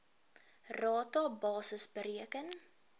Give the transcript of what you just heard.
rata basis bereken